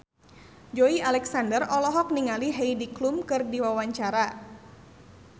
Joey Alexander olohok ningali Heidi Klum keur diwawancara